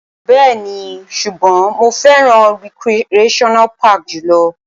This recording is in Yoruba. Bẹ́ẹ̀ni, ṣùgbọ́n mo fẹ́ràn recreational park jù lọ.